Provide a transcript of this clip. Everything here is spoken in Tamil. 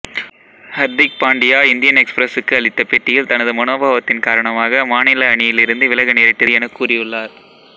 ஹர்திக் பாண்டியா இந்தியன் எக்சுபிரசுக்கு அளித்த பேட்டியில் தனது மனோபாவத்தின் காரணமாக மாநில அணியிலிருந்து விலக நேரிட்டது எனக் கூறியுள்ளார்